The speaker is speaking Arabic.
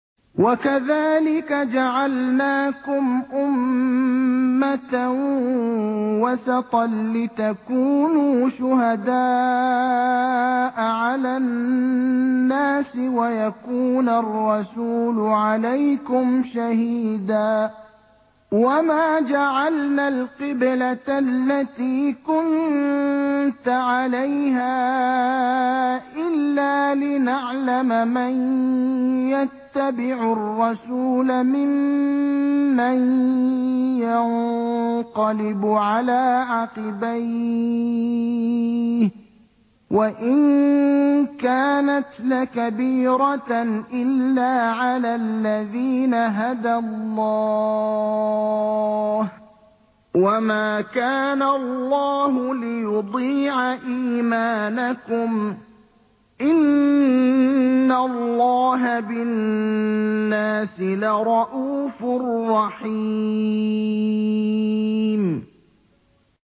وَكَذَٰلِكَ جَعَلْنَاكُمْ أُمَّةً وَسَطًا لِّتَكُونُوا شُهَدَاءَ عَلَى النَّاسِ وَيَكُونَ الرَّسُولُ عَلَيْكُمْ شَهِيدًا ۗ وَمَا جَعَلْنَا الْقِبْلَةَ الَّتِي كُنتَ عَلَيْهَا إِلَّا لِنَعْلَمَ مَن يَتَّبِعُ الرَّسُولَ مِمَّن يَنقَلِبُ عَلَىٰ عَقِبَيْهِ ۚ وَإِن كَانَتْ لَكَبِيرَةً إِلَّا عَلَى الَّذِينَ هَدَى اللَّهُ ۗ وَمَا كَانَ اللَّهُ لِيُضِيعَ إِيمَانَكُمْ ۚ إِنَّ اللَّهَ بِالنَّاسِ لَرَءُوفٌ رَّحِيمٌ